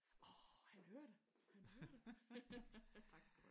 Åh han hørte det. Han hørte det. Tak skal du have